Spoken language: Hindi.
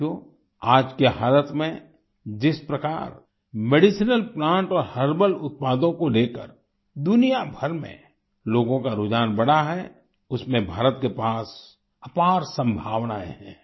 साथियो आज के हालात में जिस प्रकार मेडिसिनल प्लांट और हर्बल उत्पादों को लेकर दुनिया भर में लोगों का रुझान बढ़ा है उसमें भारत के पास अपार संभावनाएं हैं